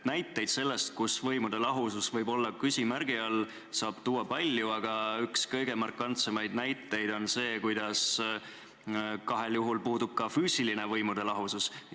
Näiteid sellest, et võimude lahusus võib olla küsimärgi all, saab tuua palju, aga üks kõige markantsemaid on see, et kahes kohas puudub ka füüsiline võimude lahusus.